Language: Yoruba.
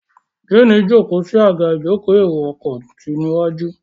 Jenny jókó sí Àga ìjókòó èrò ọkọ̀ tí waju.